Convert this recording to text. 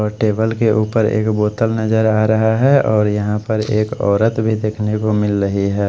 और टेबल के ऊपर एक बोतल नजर आ रहा है और यहाँ पर एक औरत भी देख ने को मिल रही है।